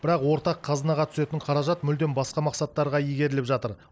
бірақ ортақ қазынаға түсетін қаражат мүлдем басқа мақсаттарға игеріліп жатыр